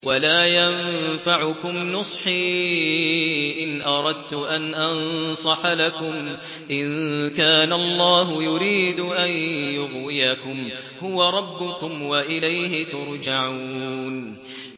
وَلَا يَنفَعُكُمْ نُصْحِي إِنْ أَرَدتُّ أَنْ أَنصَحَ لَكُمْ إِن كَانَ اللَّهُ يُرِيدُ أَن يُغْوِيَكُمْ ۚ هُوَ رَبُّكُمْ وَإِلَيْهِ تُرْجَعُونَ